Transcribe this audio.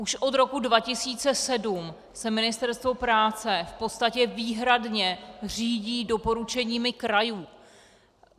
Už od roku 2007 se Ministerstvo práce v podstatě výhradně řídí doporučeními krajů.